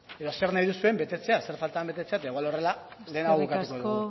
edo zer nahi duzuen betetzea zer falta den betetzea eta igual horrela lehenago bukatuko dugu besterik gabe mila asko